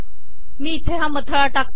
मी इथे हा मथळा टाकते